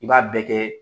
I b'a bɛɛ kɛ